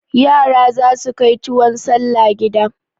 Yara za su kai tuwon salla gida.